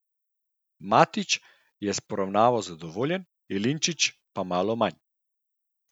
Matić je s poravnavo zadovoljen, Jelinčič pa malo manj.